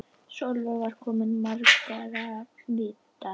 Sólveig var kona margra vídda.